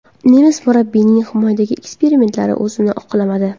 Nemis murabbiyining himoyadagi eksperimentlari o‘zini oqlamadi.